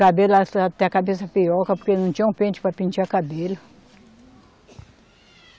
Cabelo até a cabeça, porque não tinha um pente para pentear cabelo.